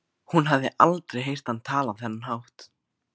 Hún hafði aldrei heyrt hann tala á þennan hátt.